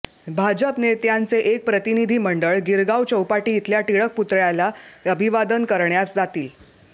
भाजप नेत्यांचे एक प्रतिनिधी मंडळ गिरगाव चौपाटी इथल्या टिळक पुतळ्याला अभिवादन करण्यास जातील